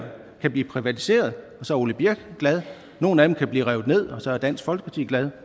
kan blive privatiseret og så er ole birk glad og nogle af dem kan blive revet ned og så er dansk folkeparti glad